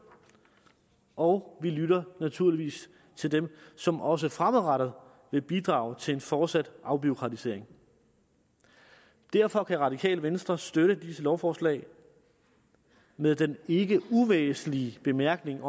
og naturligvis til dem som også fremadrettet vil bidrage til en fortsat afbureaukratisering derfor kan radikale venstre støtte disse lovforslag med den ikke uvæsentlige bemærkning